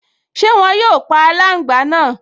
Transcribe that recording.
Ṣé wọn yóò pa aláǹgbá náà?